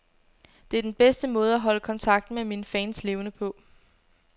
Det er den bedste måde at holde kontakten med mine fans levende på.